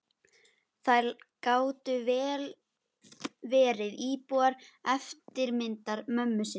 Þær gátu vel verið tvíburar, eftirmyndir mömmu sinnar.